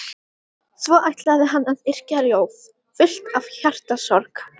Svo ætlaði hann að yrkja ljóð, fullt af hjartasorg.